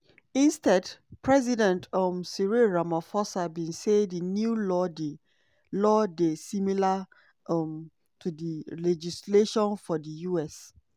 instead president um cyril ramaphosa bin say di new law dey law dey similar um to di legislation for di us.